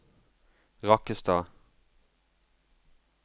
Rakkestad